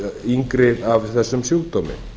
yngri af þessum sjúkdómi